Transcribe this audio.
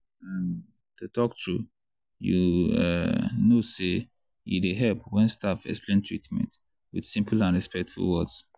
um to talk true you um know say e dey help when staff explain treatment with simple and respectful words.